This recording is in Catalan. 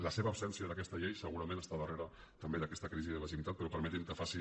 la seva absència d’aquesta llei segurament està darrere també d’aquesta crisi de legitimitat però permetin que faci